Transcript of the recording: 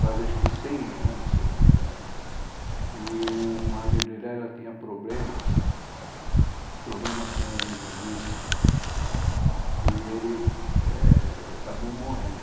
fazia acho que cem anos, se não me engano, e o marido dela tinha problema, problema com vício, e ele é acabou morrendo.